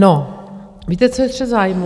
No, víte, co je střet zájmů?